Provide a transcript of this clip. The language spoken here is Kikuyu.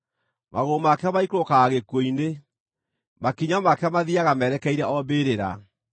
Magũrũ make maikũrũkaga gĩkuũ-inĩ; makinya make mathiiaga merekeire o mbĩrĩra.